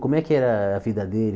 Como é que era a vida dele?